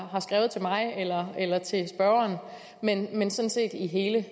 har skrevet til mig eller til spørgeren men men sådan set i hele